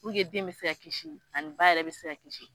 den bɛ se ka kisi ani ba yɛrɛ bɛ se ka kisi